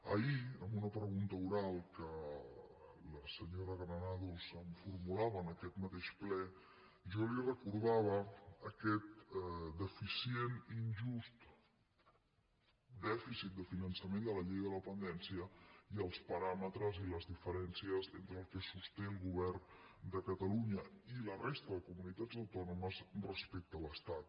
ahir en una pregunta oral que la senyora granados em formulava en aquest mateix ple jo li recordava aquest deficient injust dèficit de finançament de la llei de dependència i els paràmetres i les diferències entre el que sosté el govern de catalunya i la resta de comunitats autònomes respecte a l’estat